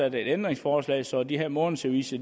et ændringsforslag så de her månedsaviser